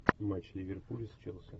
матч ливерпуля с челси